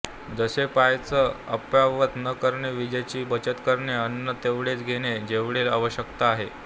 जसे पाण्याचं अपव्यय न करणे वीजेची बचत करणे अन्न तेवढेच घेणे जेवढे आवश्यकता आहे